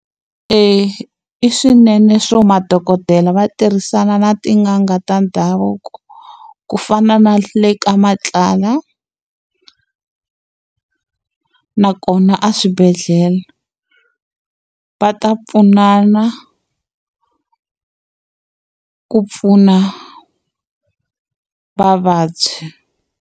i swinene swo madokodela va tirhisana na tin'anga ta ndhavuko, ku fana na le ka Matlala nakona aswibedhlele. Va ta pfunana ku pfuna vavabyi.